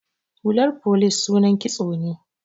Hular folice sunan kitso ne.